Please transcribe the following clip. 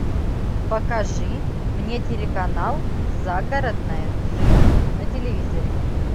покажи мне телеканал загородная жизнь на телевизоре